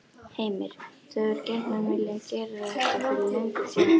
Heimir: Þú hefur gjarnan viljað gera þetta fyrir löngu síðan?